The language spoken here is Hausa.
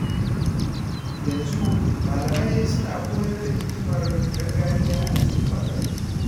Yanzu, malamai suna koyar da hikimar gargajiya a cikin makarantu.